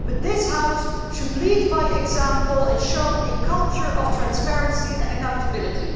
this House should lead by example and show a culture of transparency and accountability.